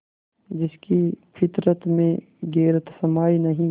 जिसकी फितरत में गैरत समाई नहीं